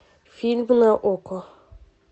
фильмы на окко